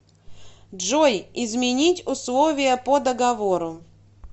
джой изменить условия по договору